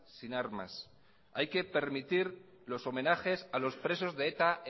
sin armas hay que permitir los homenajes a los presos de eta